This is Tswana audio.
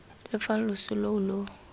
lo fa loso loo lo